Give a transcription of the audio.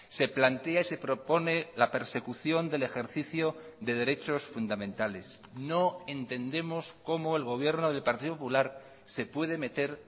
se plantea y se propone la persecución del ejercicio de derechos fundamentales no entendemos cómo el gobierno del partido popular se puede meter